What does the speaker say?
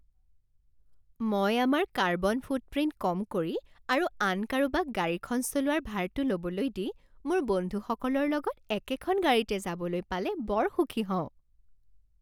মই আমাৰ carbon footprint কম কৰি আৰু আন কাৰোবাক গাড়ীখন চলোৱাৰ ভাৰটো ল'বলৈ দি মোৰ বন্ধুসকলৰ লগত একেখন গাড়ীতে যাবলৈ পালে বৰ সুখী হওঁ।